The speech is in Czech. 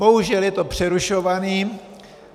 Bohužel je to přerušované.